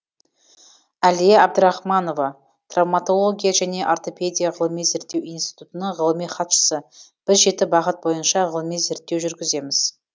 әлия әбдірахманова травматология және ортопедия ғылыми зерттеу институтының ғылыми хатшысы біз жеті бағыт бойынша ғылыми зерттеу жүргіземіз